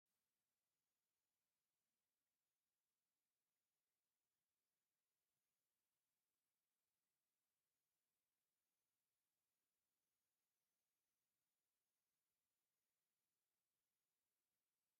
ዜና ትግራይ ዜና ብርክት ዝበሉ ሰባት ብዛዕባ ሓገዝ ናይ መንግስቲ እንግሊዝ ሓሳቡ እናገለፀ ይርከብ፡፡ ንደዲአር እውን ቡዙሕ ገንዘብ ሓገዝ ከም ዝገበረ ይገልፅ፡፡ እዚ ዜና ትክክለኛ ድዩ?